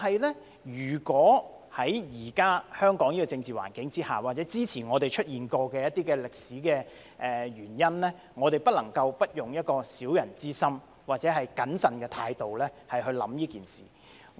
不過，在現時香港的政治環境下，或之前出現過的歷史原因，我們不能不用小人之心或謹慎的態度去想這件事。